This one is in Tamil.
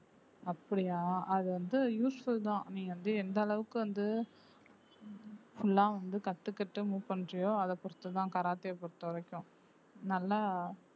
அப்படியா அது வந்து useful தான் நீ வந்து எந்த அளவுக்கு வந்து full ஆ வந்து கத்துக்கிட்டு move பண்றியோ அத பொறுத்துதான் கராத்தே பொறுத்தவரைக்கும் நல்லா